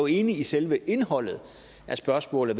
enig i selve indholdet af spørgsmålet